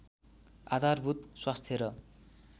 आधारभूत स्वास्थ्य र